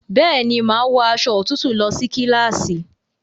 Bẹ́ẹ̀ni, màá wọ aṣọ òtútù lọ ní kíláàsì